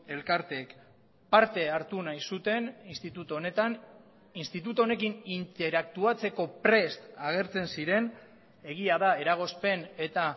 elkarteek parte hartu nahi zuten instituto honetan instituto honekin interaktuatzeko prest agertzen ziren egia da eragozpen eta